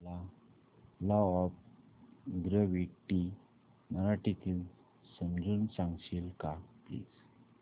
मला law of gravity मराठीत समजून सांगशील का प्लीज